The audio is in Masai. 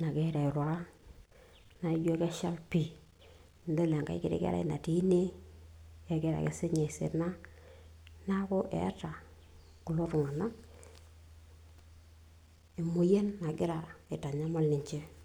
nagira airura naijo keshal pii nidol enkae kiti kerai natii ine kegira ake siinye aisina naku eeta kulo tung'anak emoyian nagiraa aitanyamal ninche.